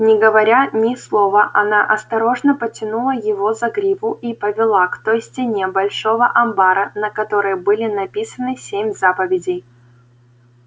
не говоря ни слова она осторожно потянула его за гриву и повела к той стене большого амбара на которой были написаны семь заповедей